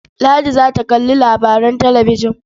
Ladi za ta kalli labaran talabijin.